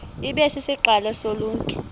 ibe sisiqalo soluntu